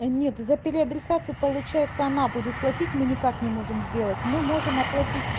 да нет за переадресацию получается она будет платить мы никак не можем сделать мы можем оплатить